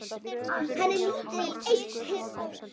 Hann er lítið eitt hissa.